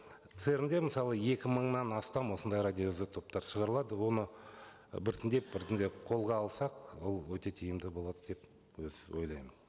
церн де мысалы екі мыңнан астам осындай радиоизотоптар шығарылады оны і біртіндеп біртіндеп колға алсақ ол өте тиімді болады деп ойлаймын